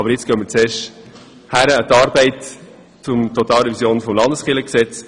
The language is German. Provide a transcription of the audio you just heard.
Doch nun machen wir uns erst einmal an die Revision des Landeskirchengesetzes.